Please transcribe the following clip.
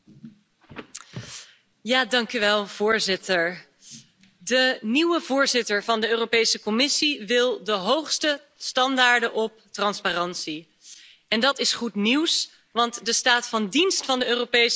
Voorzitter, de nieuwe voorzitter van de Europese Commissie wil de hoogste standaard van transparantie hanteren en dat is goed nieuws, want de staat van dienst van de Europese Commissie is gemengd.